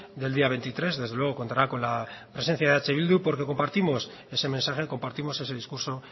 del día veintitrés desde luego contará con la presencia de eh bildu porque compartimos ese mensaje compartimos ese discurso